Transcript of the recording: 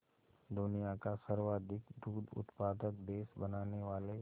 दुनिया का सर्वाधिक दूध उत्पादक देश बनाने वाले